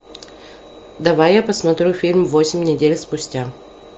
давай я посмотрю фильм восемь недель спустя